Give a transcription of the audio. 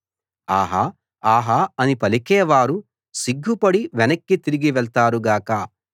ఆహా ఆహా అని పలికేవారు సిగ్గుపడి వెనక్కి తిరిగి వెళ్తారు గాక